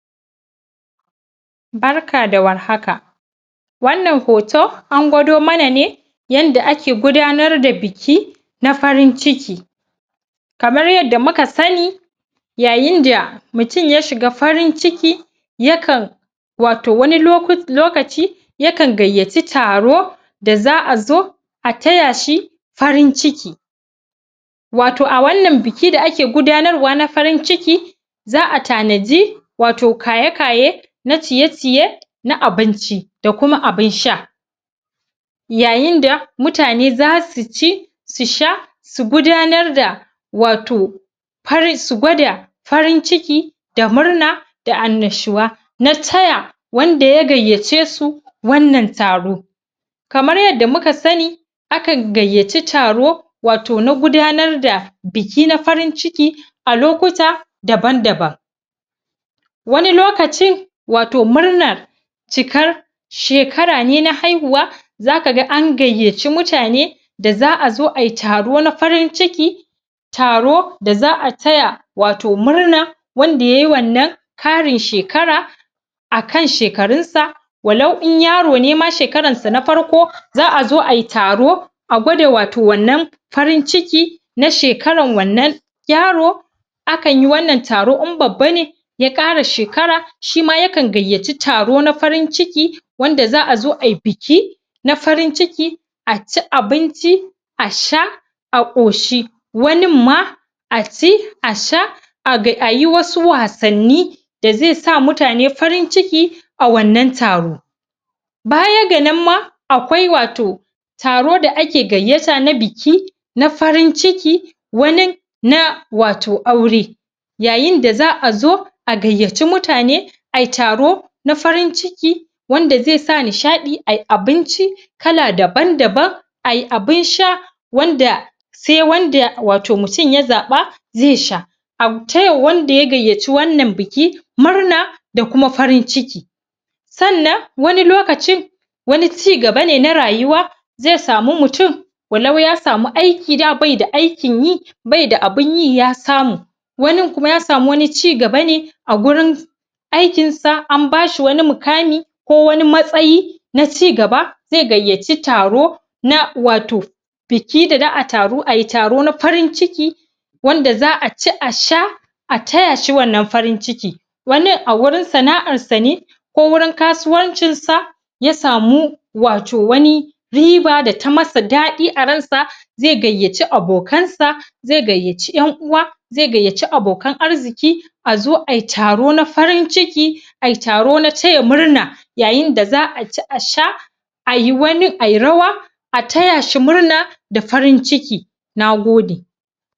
Barka da warhaka wannan huto an gwada mana ne yanda ake gudanar da biki na farin ciki kamar yadda muka sani yayinda, mutum ya shiga farin ciki yakan, wato wasu loku.... wani lokaci yakan gayyaci tao da'a zo a taya shi farin ciki wato a wannan biki da ake gudanarwa na farin ciki za'a tanaji, wato kayeye-kayeye na ciye-ciye na abinci da kuma abin sha yayinda, mutane zasuci su sha su gudanar daa wato har su gwada farin ciki, da murna da annashuwa na taya, wanda ya gayyacesu, wannan taro kamar yadda muka sani akan gayyaci taro wato na gudanar da biki na farin ciki a lokuta daban daban wani lokacin wato murnar cikar... shekara ne na haihuwa zakaga an gayyaci muane da'azo ayi taro na farin ciki taro da za'a taya wato murna wanda yayi wannan Ƙarin shekara akan shekarunsa walau in yaro ne ma shekaran sa na farko za'azo ayi taro a gwada wato wannan farin ciki na shekaran wannan yaaro akanyi wannan taro in babba ne ya Ƙara shekara, shima yakan gayyaci taro na farin ciki wanda za'azo ayi biki na farin ciki, a ci abinci a sha a koshi wanin ma a ci a sha ayi wasu wassanni da zaisa mutane farin ciki a wannan taro baya ga nan ma akwai wato taro da ake gayyata na biki na farin ciki wani, na wato aure yayin da za'azo a gayyaci mutane ay taro na farin ciki wanda zai sa nishadi, ay abinci kala daban-daban ay abin sha wanda sai wanda wato mutum ya zaba zai sha a taya wanda ya gayyaci wannan biki murna da kuma farin ciki sannan wani lokaci wani cigaba ne na rayuwa zai samu mutum walau ya sama aiki da baida aikin yi baida abunyi ya samu wanin kuma ya wani samu cigaba ne su... aiknsa an basa wani muƘamai ko wani matsayi na cigaba, zai gayyaci taro na wato biki da za'ay taro ay taro na farin ciki wanda za'aci a sha a taya shi wannan farin ciki wani a wurin sana'ar sane ko wurin kasuwancin sa ya samu wato wani riba da ta masa dadi a ransa zai gayyaci abokan sa zai gayyaci yan uwa zai gayyaci abokan arziki azo ayi taro na farin ciki ay taro na taya murna yayin da za'a ci a sha ay wani.. ay rawa a tay shi murna, da farin ciki nagode